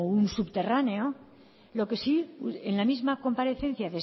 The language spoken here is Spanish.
un subterráneo lo que sí en la misma comparecencia